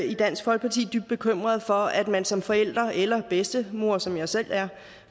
i dansk folkeparti dybt bekymrede for at man som forælder eller bedstemor som jeg selv er